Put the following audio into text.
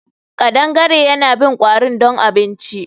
Kadangare yana bin kwarin don abinci